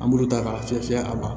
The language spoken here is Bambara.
An b'olu ta ka fiyɛ fiyɛ a la